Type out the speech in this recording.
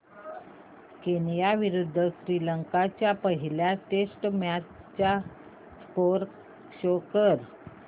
Kenya विरुद्ध श्रीलंका च्या पहिल्या टेस्ट मॅच चा स्कोअर शो कर